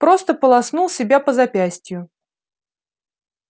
просто полоснул себя по запястью